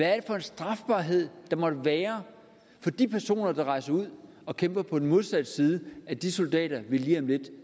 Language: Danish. er for en strafbarhed der måtte være for de personer der rejser ud og kæmper på den modsatte side af de soldater vi lige om lidt